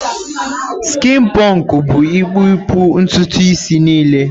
Skịn pọnkụ bụ ịkpụ puu ntutu isi niile.